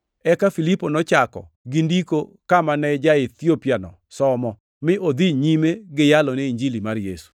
Eka Filipo nochako gi Ndiko kama ne ja-Ethiopiano somo, mi odhi nyime gi yalone Injili mar Yesu.